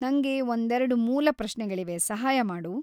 ನಂಗೆ ಒಂದೆರ್ಡು ಮೂಲ ಪ್ರಶ್ನೆಗಳಿವೆ, ಸಹಾಯ ಮಾಡು.